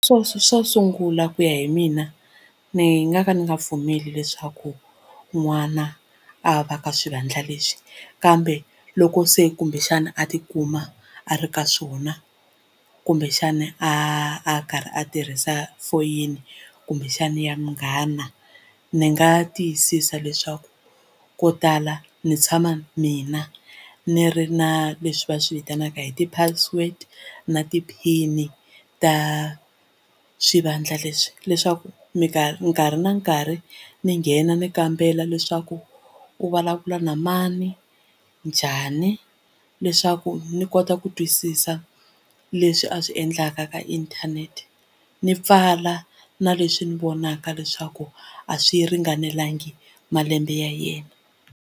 Swo sungula ku ya hi mina ni nga ka ni nga pfumeli leswaku n'wana a va ka swivandla leswi kambe loko se kumbexana a ti kuma a ri ka swona kumbexana a karhi a tirhisa foyini kumbexani ya munghana ndzi nga tiyisisa leswaku ko tala ndzi tshama mina ni ri na leswi va swi vitanaka hi ti-password na ti-pin ta swivandla leswi leswaku nkarhi na nkarhi ni nghena ni kambela leswaku u vulavula na mani njhani leswaku ni kona ku twisisa leswi a swi endlaka ka inthanete ni pfala na leswi ndzi vonaka leswaku a swi ringanelangi malembe ya yena.